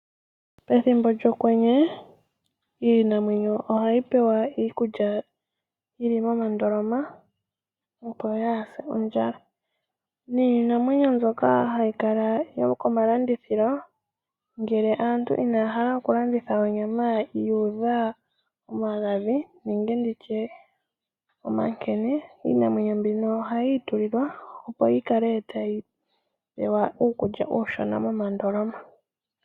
Pethimbo lyokwenye iinamwenyo ohayi pewa iikulya, yili momandoloma opo yaa se ondjala. Niinamwenyo mbyoka hayi kala yo komalandithilo ngele aantu inaya hala oku landitha onyama yuudha omagadhi nenge nditye omankene ,iinamwenyo mbino ohayi i tulilwa opo yi kale tayi pewa uukulya uushona momandoloma.